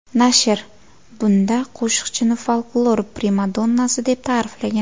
Nashr bunda qo‘shiqchini folklor primadonnasi, deb ta’riflagan.